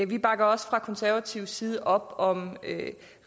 vi bakker også fra konservativ side op om